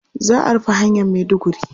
Za a rufe hanyar Maiduguri.